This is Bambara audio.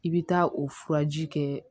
I bɛ taa o furaji kɛ